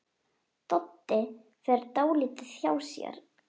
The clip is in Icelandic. Doddi fer dálítið hjá sér.